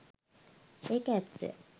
ඒක ඇත්ත!